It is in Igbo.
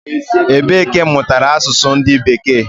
Ebe ka imutara asusu ndu beeke?